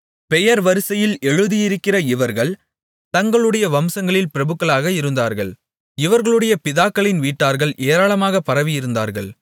பெயர் வரிசையில் எழுதியிருக்கிற இவர்கள் தங்களுடைய வம்சங்களில் பிரபுக்களாக இருந்தார்கள் இவர்களுடைய பிதாக்களின் வீட்டார்கள் ஏராளமாகப் பரவியிருந்தார்கள்